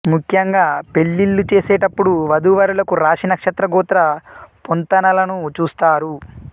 ముఖ్యంగా పెళ్ళిళ్ళు చేసేటప్పుడు వధూ వరులకు రాశి నక్షత్ర గోత్ర పొంతనలను చూస్తారు